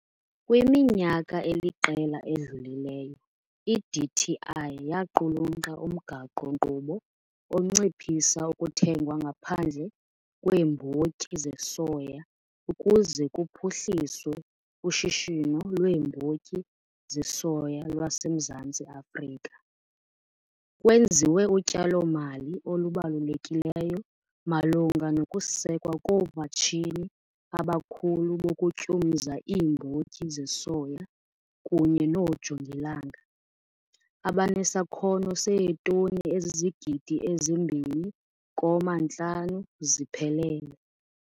Kwiminyaka eliqela edlulileyo iDTI yaqulunqa umgaqo-nkqubo onciphisa ukuthengwa ngaphandle kweembotyi zesoya ukuze kuphuhliswe ushishino lweembotyi zesoya lwaseMzantsi Afrika. Kwenziwe utyalomali olubalulekileyo malunga nokusekwa koomatshini abakhulu bokutyumza iimbotyi zesoya kunye noojongilanga, abanesakhono seetoni ezizigidi ezi-2,5 ziphelele.